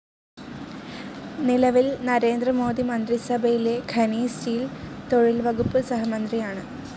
നിലവിൽ നരേന്ദ്ര മോദി മന്ത്രിസഭയിലെ ഖനി, സ്റ്റീൽ, തൊഴിൽ വകുപ്പ് സഹമന്ത്രിയാണ്.